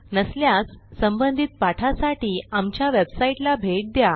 नसल्यास संबंधित पाठासाठी आमच्या वेबसाईटला भेट द्या